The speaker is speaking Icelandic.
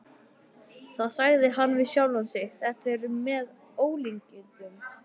Það sagði hann við sjálfan sig: Þetta er með ólíkindum.